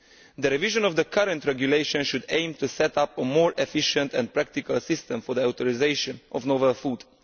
The revision of the current regulation should aim to set up a more efficient and practicable system for the authorisation of novel foods.